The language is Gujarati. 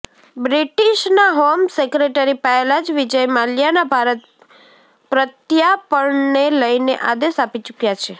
બ્રિટીશના હોમ સેક્રેટરી પહેલાં જ વિજય માલ્યાના ભારત પ્રત્યાપર્ણને લઈને આદેશ આપી ચૂક્યાં છે